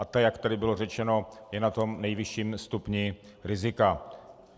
A ta, jak tady bylo řečeno, je na tom nejvyšším stupni rizika.